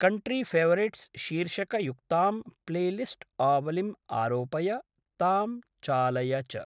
Country favourites शीर्षकयुक्तां प्लेलिस्ट्‌आवलिम् आरोपय, तां चालय च।